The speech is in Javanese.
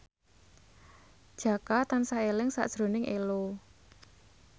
Jaka tansah eling sakjroning Ello